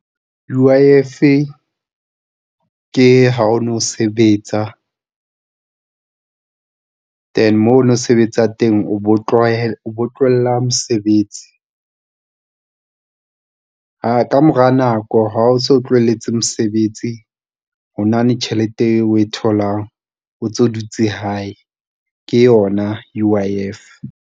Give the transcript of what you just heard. U_I _F ke ha o no sebetsa, and moo o ne o sebetsa teng, o bo tlohella mosebetsi ka mora nako ha o so o tlohelletse mosebetsi. Hona le tjhelete eo o e tholang, o ntso dutse hae ke yona U_I_F.